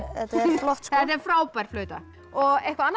flott sko þetta er frábær flauta eitthvað annað